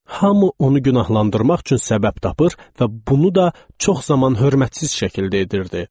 Hamı onu günahlandırmaq üçün səbəb tapır və bunu da çox zaman hörmətsiz şəkildə edirdi.